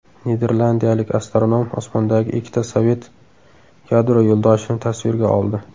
Niderlandiyalik astronom osmondagi ikkita sovet yadro yo‘ldoshini tasvirga oldi.